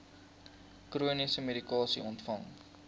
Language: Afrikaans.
chroniese medikasie ontvang